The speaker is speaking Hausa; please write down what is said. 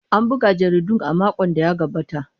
An buga jaridun a makon da ya gabata.